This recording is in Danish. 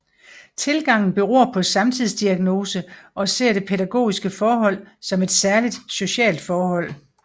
Tilgangen beror på samtidsdiagnose og ser det pædagogiske forhold som et særligt socialt forhold